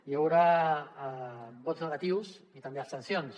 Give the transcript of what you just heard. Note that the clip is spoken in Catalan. hi haurà vots negatius i també abstencions